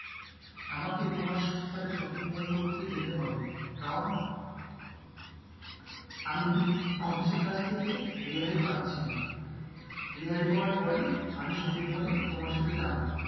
আমাকে তোমার সাথে shopping mall করতে যেতে হবে, কারণ আমি অফিসের কাছ থেকে রেহাই পাচ্ছি না, রেহাই পাওয়ার পরই আমি shopping mall এ তোমার সাথে যাবো,